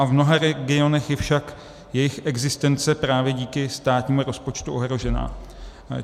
A v mnoha regionech je však její existence právě díky státnímu rozpočtu ohrožena.